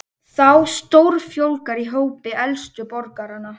Þá stórfjölgar í hópi elstu borgaranna